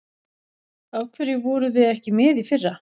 Af hverju voruð þið ekki með í fyrra?